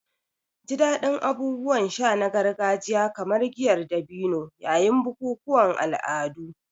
Ji daɗin abubuwan sha na gargajiya kamar giyar dabino yayin bukukuwan al'adu.